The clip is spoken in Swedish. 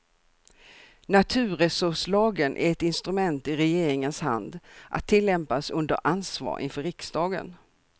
Naturresurslagen är ett instrument i regeringens hand, att tillämpas under ansvar inför riksdagen.